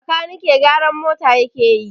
Bakanike gyaran mota yake yi